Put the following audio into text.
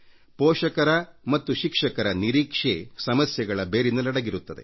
ಪೋಷಕರ ಮತ್ತು ಶಿಕ್ಷಕರ ನಿರೀಕ್ಷೆ ಸಮಸ್ಯೆಗಳ ಮೂಲದಲ್ಲಡಗಿರುತ್ತದೆ